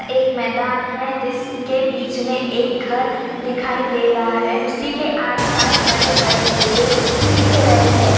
एक मैदान है जिस के बीच में एक घर दिखाई दे रहा है उसी के आस-पास बड़े-बड़े पेड़ दिख रहे हैं।